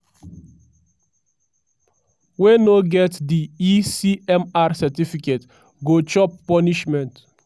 wey no get di e-cmr certificates go chop punishment.